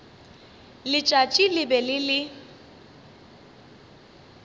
letšatši le be le le